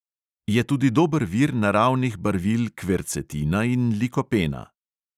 Je tudi dober vir naravnih barvil kvercetina in likopena.